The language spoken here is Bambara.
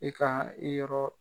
I ka yɔrɔ,